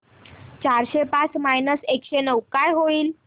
चारशे पाच मायनस एकशे नऊ काय होईल